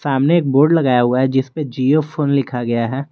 सामने एक बोर्ड लगाया हुआ है जिस पे जिओ फोन लिखा गया है।